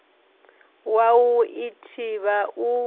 wa u i thivha u